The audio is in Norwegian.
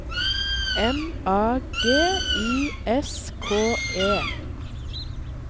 M A G I S K E